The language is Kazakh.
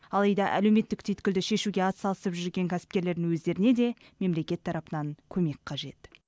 алайда әлеуметтік түйткілді шешуге атсалысып жүрген кәсіпкерлердің өздеріне де мемлекет тарапынан көмек қажет